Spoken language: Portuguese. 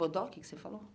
Bodoque que você falou?